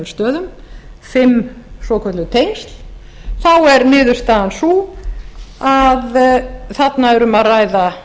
stöðum fimm svokölluð tengsl er niðurstaðan sú að þarna er um að ræða